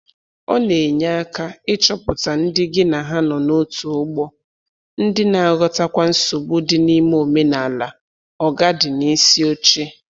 Ọ na enye aka ịchọpụta ndị gị na ha nọ n'otu ụgbọ, ndị na-aghọtakwa nsogbu dị n’ime omenala “oga di n'isi oche”